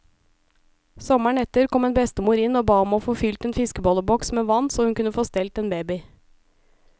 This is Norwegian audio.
Sommeren etter kom en bestemor inn og ba om å få fylt en fiskebolleboks med vann, så hun kunne få stelt en baby.